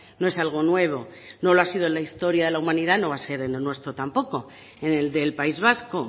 no es algo nuevo no lo ha sido en la historia de la humanidad no lo va a ser en lo nuestro tampoco en el del país vasco